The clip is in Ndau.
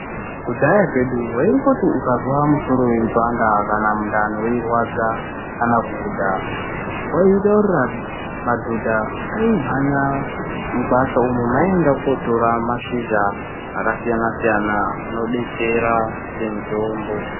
Kudhaya kwedu waingoti ukazwa musoro weipanda kana mundani weirwadza kana kuhudha waitaurira madhodha aimhanya mukwasha umu meaienda kunotora mashizha akasiyana siyana anobetsera semutombo.